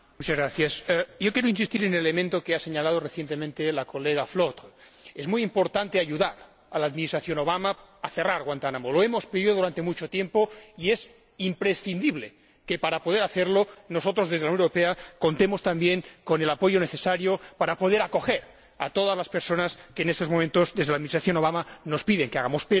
Señora Presidenta, yo quería insistir en el elemento que ha señalado recientemente la colega Flautre. Es muy importante ayudar al Presidente Obama a cerrar Guantánamo. Lo hemos pedido durante mucho tiempo y es imprescindible que, para poder hacerlo, nosotros, desde la Unión Europea, contemos también con el apoyo necesario para poder acoger a todas las personas que en estos momentos, desde el Gobierno de Obama, nos piden que acojamos.